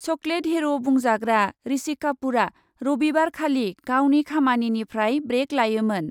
Chocolate हिर' बुंजाग्रा ऋषि कापुरआ रबिबारखालि गावनि खामानिनिफ्राय ब्रेक लायोमोन ।